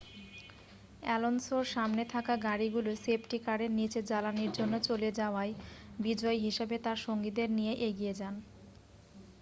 অ্যালোনসোর সামনে থাকা গাড়িগুলি সেফটি কারের নীচে জ্বালানির জন্য চলে যাওয়ায় বিজয়ী হিসাবে তার সঙ্গীদের নিয়ে এগিয়ে যান